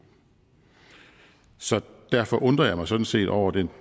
så derfor undrer jeg mig sådan set over den